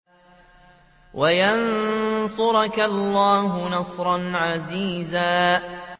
وَيَنصُرَكَ اللَّهُ نَصْرًا عَزِيزًا